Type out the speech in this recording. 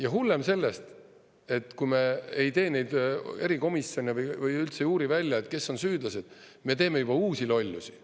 Ja hullem sellest, kui me ei tee neid erikomisjone või üldse ei uuri välja, kes on süüdlased: me teeme juba uusi lollusi.